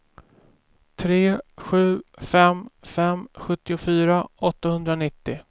tre sju fem fem sjuttiofyra åttahundranittio